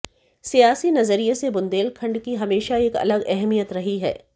सियासी नजरिए से बुंदेलखंड की हमेशा एक अलग अहमियत रही है